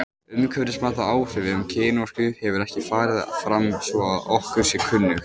Umhverfismat á áhrifum kynorku hefur ekki farið fram svo að okkur sé kunnugt.